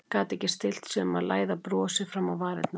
Gat ekki stillt sig um að læða brosi fram á varirnar.